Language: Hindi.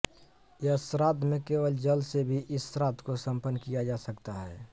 यह श्राद्ध में केवल जल से भी इस श्राद्ध को सम्पन्न किया जा सकता है